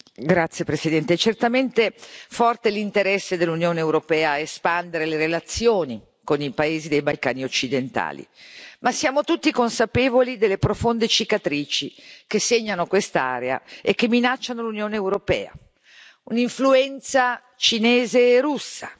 Signora Presidente, onorevoli colleghi, certamente è forte l'interesse dell'Unione europea a espandere le relazioni con i paesi dei Balcani occidentali, ma siamo tutti consapevoli delle profonde cicatrici che segnano quest'area e che minacciano l'Unione europea un'influenza cinese e russa